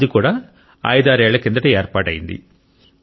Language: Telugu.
అది కూడా ఐదారు ఏళ్ల కిందట ఏర్పాటైంది